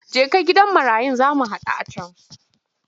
Jeka gidan marayun za mu haɗu a can!